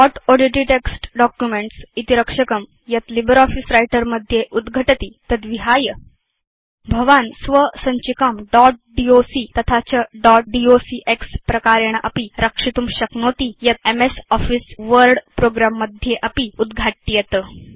dot odt text documents इति रक्षकं यत् लिब्रियोफिस व्रिटर मध्ये उद्घटति तद्विहाय भवान् स्वसञ्चिकां दोत् docतथा च दोत् डॉक्स प्रकारेण अपि रक्षितुं शक्नोति यत् एमएस आफिस वर्ड प्रोग्रं मध्ये अपि उद्घाट्येत